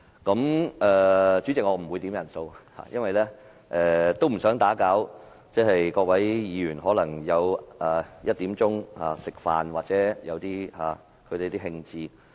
代理主席，我不會要求點算人數，因為我不想打擾各位議員在下午1時吃飯的興致。